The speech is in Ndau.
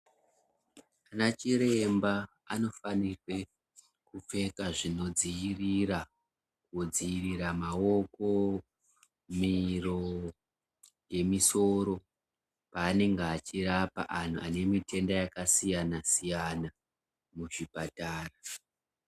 Anachiremba anofanirwe kupfeka zvinodziirira , kudziirira maoko, miro ngemisoro paanenge achirapa antu ane mitenda yakasiyana siyana muzvipatara.